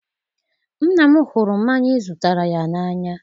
nna m hụrụ mmanya ị zụtara ya n'anya.